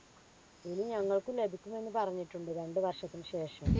ഇനി ഞങ്ങൾക്ക് ലഭിക്കുമെന്ന് പറഞ്ഞിട്ടുണ്ട്. രണ്ട് വർഷത്തിനുശേഷം.